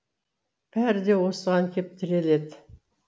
бәрі де осыған кеп тіреледі